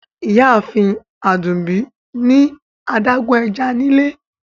Ìyààfin Adúmbí ni adágún è̩já nílẹ̀.